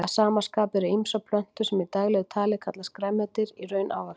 Að sama skapi eru ýmsar plöntur sem í daglegu tali kallast grænmeti í raun ávextir.